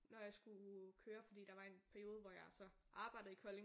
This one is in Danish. Når jeg skulle køre fordi der var en periode hvor jeg så arbejdede i Kolding